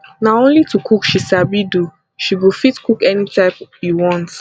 na only to cook she sabi do she go fit cook any type you want